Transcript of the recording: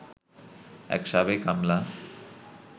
এক সাবেক আমলা